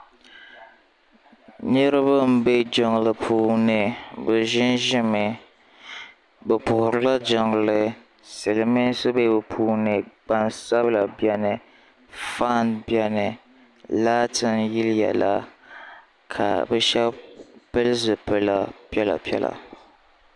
niriba n bɛ jimli puuni e ʒɛ ʒɛmi be puhirila jinli siliminsi bɛ be puuni gbasabila bɛni ƒɔni bɛni laati n yɛliya la ka be shɛbi pɛli zibili piɛla